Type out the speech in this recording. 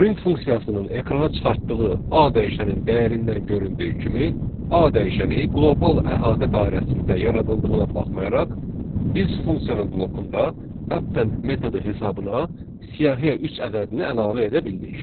Print funksiyasının ekrana çıxartdığı A dəyişənin dəyərindən göründüyü kimi, A dəyişəni qlobal əhatə dairəsində yaradıldığına baxmayaraq, biz funksiyanın blokunda append metodu hesaba siyahıya üç ədədini əlavə edə bildik.